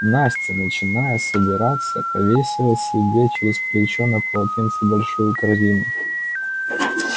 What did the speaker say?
настя начиная собираться повесила себе через плечо на полотенце большую корзину